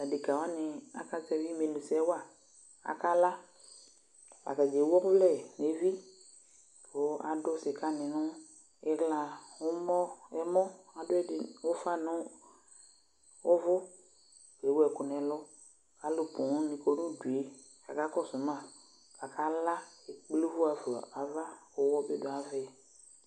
Adeka wani akazɛvi imenu sɛwaAkala Atani ewu ɔvlɛ neviKʋ adʋ sika ni nʋ iɣla, ɛmɔ, ɛlʋ Adʋ ɛdi ufa nu ʋvʋkʋ ewu ɛkʋ nʋ ɛlʋAlu pooo ni kɔ nʋ udueKʋ akakɔsʋ maakala kple ʋvʋ ɣafa nava ʋwɔ bi du'avɛ